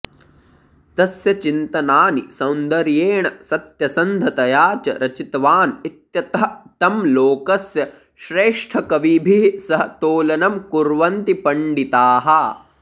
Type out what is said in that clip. तस्य चिन्तनानि सौन्दर्येण सत्यसन्धतया च रचितवान् इत्यतः तं लोकस्य श्रेष्ठकविभिः सह तोलनं कुर्वन्ति पण्डिताः